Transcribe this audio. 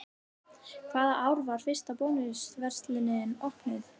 Hvaða ár var fyrsta Bónus verslunin opnuð?